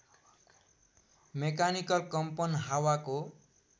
mechanical कम्पन हावाको